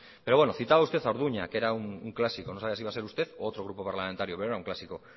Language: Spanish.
pero bueno citaba usted a orduña que era un clásico no sabía si iba a ser usted u otro grupo parlamentario pero era un clásico